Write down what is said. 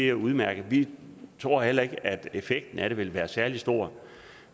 er udmærket vi tror heller ikke at effekten af det vil være særlig stor